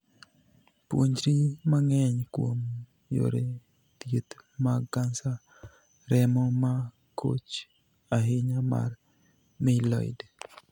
Puonjri mang'eny kuom yore thieth mag kansa remo ma koch ahinya mar 'myeloid'.